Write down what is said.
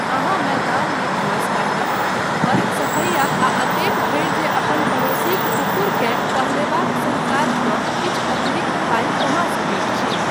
अहाँ मैदानमे घास काटब, घरक सफैआ आ एतेक धरि जे अपन पड़ोसीक कुकुरकेँ टहलयबाक सन काज कऽ किछु अतिरिक्त पाइ कमा सकैत छी।